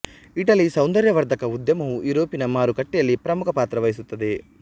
Italy ಸೌಂದರ್ಯವರ್ಧಕ ಉದ್ಯಮವು ಯೂರೋಪಿನ ಮಾರುಕಟ್ಟೆಯಲ್ಲಿ ಪ್ರಮುಖ ಪಾತ್ರ ವಹಿಸುತ್ತದೆ